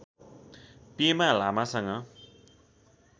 पेमा लामासँग